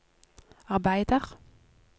arbeider